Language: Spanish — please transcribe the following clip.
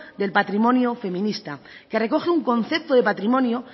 del patrimonio feminista que recoge un concepto de patrimonio